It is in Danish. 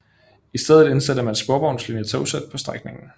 I stedet indsatte man sporvognslignende togsæt på strækningen